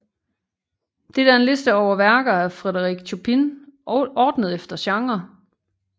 Dette er en liste over værker af Frédéric Chopin ordnet efter genre